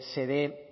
se dé